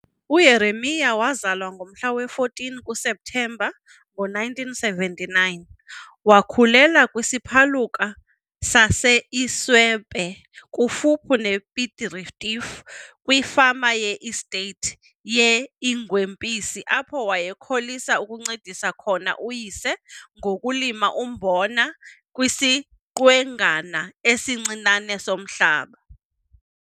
UJeremia wazalwa ngomhla we-14 kuSeptemba ngo-1979. Wakhulela kwisiphaluka saseIswepe kufuphi nePiet Retief kwifama ye-estate yeIngwempisi apho wayekholisa ukuncedisa khona uyise ngokulima umbona kwisiqwengana esincinane somhlaba.